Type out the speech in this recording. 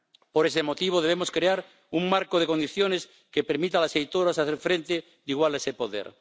Por ese motivo debemos crear un marco de condiciones que permita a las editoras hacer frente igualmente a ese poder.